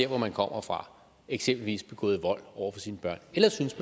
hvor man kommer fra eksempelvis har begået vold over for sine børn eller synes